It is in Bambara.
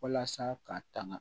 Walasa k'a tanga